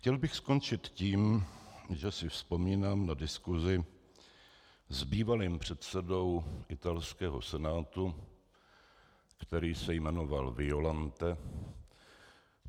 Chtěl bych skončit tím, že si vzpomínám na diskusi s bývalým předsedou italského Senátu, který se jmenoval Violante.